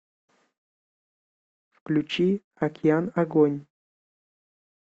включи океан агонь